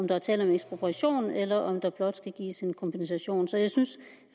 der er tale om ekspropriation eller om der blot skal gives en kompensation så jeg synes